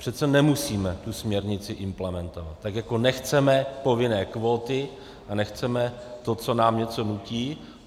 Přece nemusíme tu směrnici implementovat, tak jako nechceme povinné kvóty a nechceme to, co nám někdo nutí.